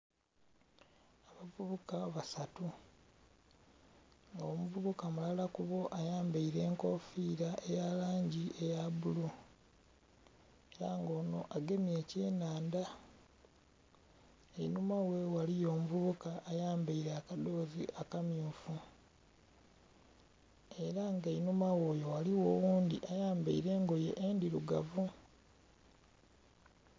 Abavubuka basatu nga omuvubuka mulala ku bo ayambaile enkofiira eya langi eya bbulu ela nga ono agemye ekyenhandha, einhuma ghe ghaliyo omuvubuka ayambaile akadhoozi akammyufu ela nga einhuma gh'oyo ghaligho oghundhi ayambaile engoye endhirugavu.